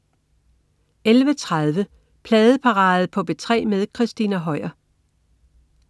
11.30 Pladeparade på P3 med Christina Høier